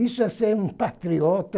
Isso é ser um patriota